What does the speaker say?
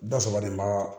Da saba de b'a